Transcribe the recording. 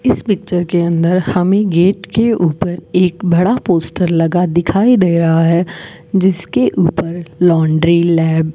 इस पिक्चर के अंदर हमें गेट के ऊपर एक बड़ा पोस्टर लगा दिखाई दे रहा है जिसके ऊपर लॉन्ड्री लैब --